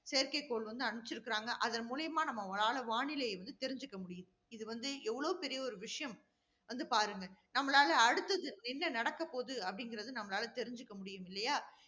செயற்கைக்கோள் வந்து அனுப்பிச்சிருக்கிறாங்க. அதன் மூலமா நம்மளால வானிலையை வந்து தெரிஞ்சுக்கமுடியுது. இது வந்து எவ்வளவு பெரிய ஒரு விஷயம், வந்து பாருங்க. நம்மளால அடுத்தது என்ன நடக்கப் போகுது அப்படிங்கிறது நம்மளால தெரிஞ்சுக்க முடியும் இல்லையா?